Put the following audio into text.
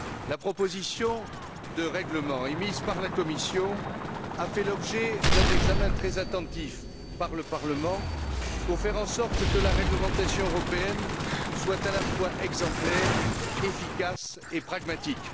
La proposition de règlement émise par la Commission a fait l'objet d'un examen très attentif par le Parlement pour faire en sorte que la réglementation européenne soit à la fois exemplaire, efficace et pragmatique.